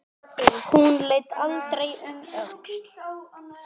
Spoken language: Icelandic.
Hún leit aldrei um öxl.